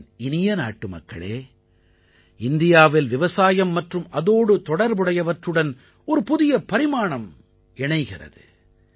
என் இனிய நாட்டுமக்களே இந்தியாவில் விவசாயம் மற்றும் அதோடு தொடர்புடையவற்றுடன் ஒரு புதிய பரிமாணம் இணைகிறது